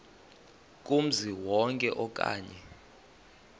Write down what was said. kumzi wonke okanye